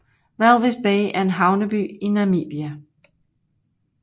Walvis Bay er en havneby i Namibia